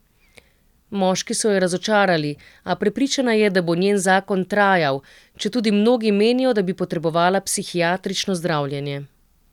Moški so jo razočarali, a prepričana je, da bo njen zakon trajal, četudi mnogi menijo, da bi potrebovala psihiatrično zdravljenje.